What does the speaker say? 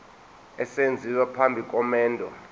esenziwa phambi komendo